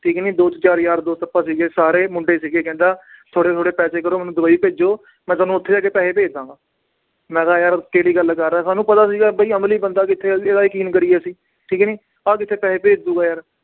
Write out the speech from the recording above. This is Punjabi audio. ਠੀਕ ਹੈ ਨੀ ਯਾਰ ਦੋਸਤ ਆਪਾਂ ਸੀਗੇ ਸਾਰੇ ਮੁੰਡੇ ਸੀਗੇ ਕਹਿੰਦਾ ਥੋੜ੍ਹੇ ਥੋੜ੍ਹੇ ਪੈਸੇ ਕਰੋ ਮੈਨੂੰ ਦੁਬਈ ਭੇਜੋ ਮੈਂ ਤੁਹਾਨੂੰ ਉੱਥੇ ਜਾ ਕੇ ਪੈਸੇ ਭੇਜ ਦੇਵਾਂਗਾ, ਮੈਂ ਕਿਹਾ ਯਾਰ ਕਿਹੜੀ ਗੱਲ ਕਰ ਰਿਹਾਂ ਸਾਨੂੰ ਪਤਾ ਸੀਗਾ ਬਾਈ ਅਮਲੀ ਬੰਦਾ ਕਿੱਥੇ ਯਕੀਨ ਕਰੀਏ ਅਸੀਂ ਠੀਕ ਹੈ ਨੀ ਆਹ ਕਿੱਥੇ ਪੈਸੇ ਭੇਜ ਦਊਗਾ ਯਾਰ।